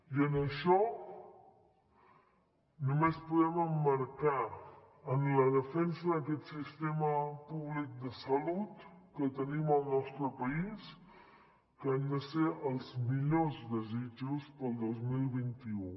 i en això només podem emmarcar en la defensa d’aquest sistema públic de salut que tenim al nostre país que han de ser els millors desitjos per al dos mil vint u